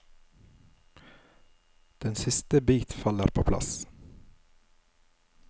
Den siste bit faller på plass.